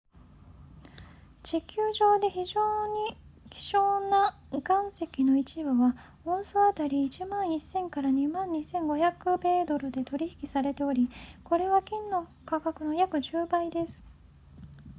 地球上で非常に希少な岩石の一部はオンス当たり 11,000～22,500 米ドルで取引されておりこれは金の価格の約10倍です